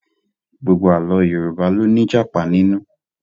Gbogbo Àlọ́ Yorùbá ló ní Ìjàpá nínú